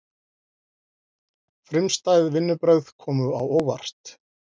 Frumstæð vinnubrögð komu á óvart